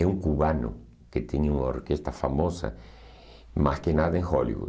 É um cubano que tinha uma orquestra famosa, mais que nada em Hollywood.